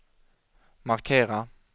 markera